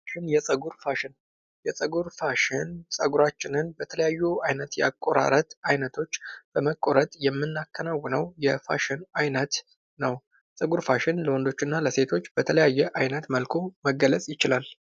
የፀጉር ፋሽን የፀጉር ፋሽን ፀጉራችንን በተለያዩ አይነት አቆራረጥ አይነቶች በመቆረት የምናከናውነው የፋሽን አይነት ነው:: ፀጉር ፋሽን ለሴቶች እና ለወንዶች በተለያየ አይነት መልኩ መገለፅ ይችላል::